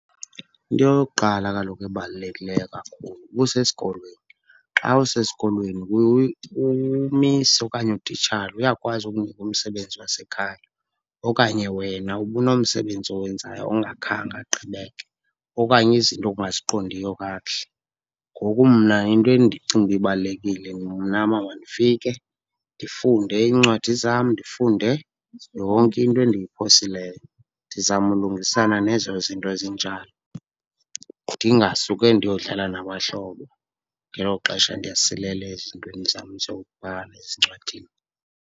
Into yokuqala kaloku ebalulekileyo kakhulu ubusesikolweni. Xa usesikolweni umisi okanye utitshala uyakwazi ukukunika umsebenzi wasekhaya okanye wena ubunomsebenzi owenzayo ongakhange agqibeke okanye izinto ongaziqondiyo kakuhle. Ngoku mna into endicinga uba ibalulekile mna uba mandifike ndifunde iincwadi zam, ndifunde yonke into endiyiphosileyo ndizame ulungisana nezo zinto zinjalo. Ndingasuke ndiyodlala nabahlobo ngelo xesha ndiyasilela ezintweni zam zobhala ezincwadini.